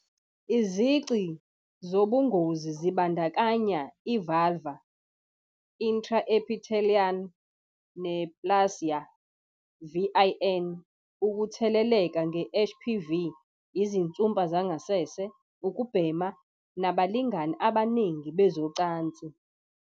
Izici zobungozi zibandakanya i- vulvar intraepithelial neoplasia, VIN, ukutheleleka nge-HPV, izinsumpa zangasese, ukubhema, nabalingani abaningi bezocansi